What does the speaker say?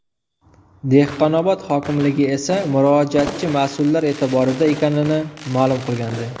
Dehqonobod hokimligi esa murojaatchi mas’ullar e’tiborida ekanini ma’lum qilgandi .